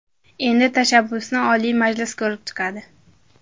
Endi tashabbusni Oliy Majlis ko‘rib chiqadi.